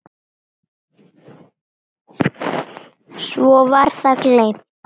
Svo var það gleymt.